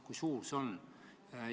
Kui suur summa see on?